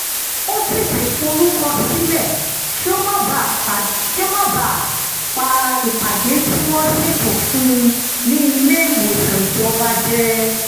ó tètè forúkọ sílẹ̀ kí ó má bàa pa ìpàdé tí wọ́n ṣètò fún un ní ilé-ìwòsàn ìjọba jẹ